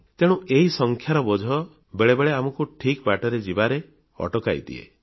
ତେଣୁ ଏହି ସଂଖ୍ୟାର ବୋଝ ବେଳେବେଳେ ଆମକୁ ଠିକ୍ ବାଟରେ ଯିବାରେ ଅଟକାଇଦିଏ